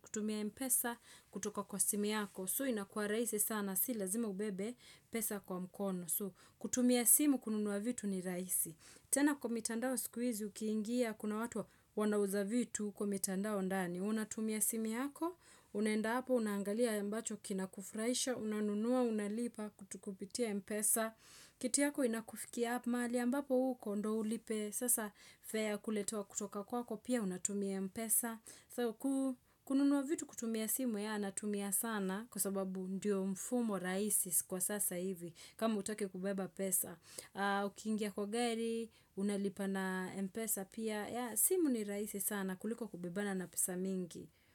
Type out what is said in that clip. kutumia Mpesa kutoka kwa simu yako. So, inakuwa rahisi sana. Si lazima ubebe pesa kwa mkono. So, kutumia simu kununua vitu ni rahisi. Tena kwa mitandao siku hizi, ukiingia kuna watu wanauza vitu huko mitandao ndani. Unatumia simu yako, unaenda hapo, unaangalia ambacho kinakufurahisha, unanunua, unalipa, kutukupitia mpesa. Kiti yako inakufikia up mahali, ambapo uko ndio ulipe, sasa fare ya kuletewa kutoka kwako, pia unatumia mpesa. So, kununua vitu kutumia simu yeah, natumia sana, kwa sababu ndio mfumo rahisi kwa sasa hivi, kama hutaki kubeba pesa. Ukiingia kwa gari, unalipa na mpesa pia, yeah simu ni rahisi sana kuliko kubebana na pesa mingi.